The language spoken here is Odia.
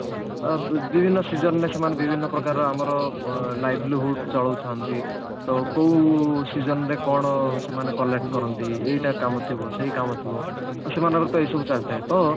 ଅ ବି ବି ବିଭିନ୍ନ season ରେ ସେମାନେ ବିଭିନ୍ନ ପ୍ରକାରର ଆମର ଅ library hood ଚଳଉଛନ୍ତି ତ କଉ season ରେ କଣ ସେମାନେ collect କରନ୍ତି ଏଇଟା କାମ ଥିବ ସେଇଟା କାମ ଥିବ ସେମାନଙ୍କର ତ ଏଇ ସବୁ ଚାଲିଥାଏ ତ